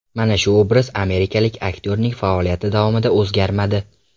Mana shu obraz amerikalik aktyorning faoliyati davomida o‘zgarmadi.